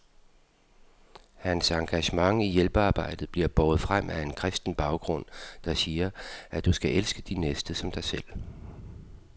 Hans engagement i hjælpearbejdet bliver båret frem af en kristen baggrund, der siger, at du skal elske din næste som dig selv.